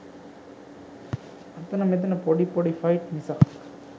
අතන මෙතන පොඩි පොඩි ෆයිට් මිසක්.